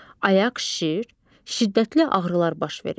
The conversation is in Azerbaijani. Ayaq şişir, şiddətli ağrılar baş verir.